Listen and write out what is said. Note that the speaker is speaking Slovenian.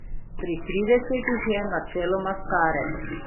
Pri tridesetih je načeloma starec.